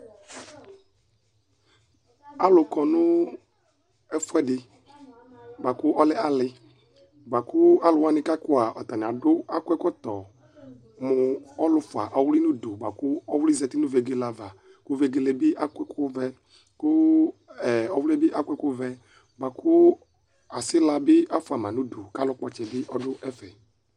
Alʋkɔnʋ ɛfʋɛdi bʋakʋ ɔlɛ ali, bʋakʋ alʋwani kʋ akɔ a atani adʋ ɛkɔtɔ mʋ ɔlʋfua ɔvli nʋ ʋdʋ kʋ ɔvlɩ zati nʋ vegele ava kʋ vegele bi akɔ ɛkʋvɛ Kʋ ɔvli yɛbi akɔ ɛkʋvɛ bʋakʋ asila bi afʋama nʋ ʋdʋ kʋ alʋkpɔ ɔtsɛbi dʋ ɛfɛ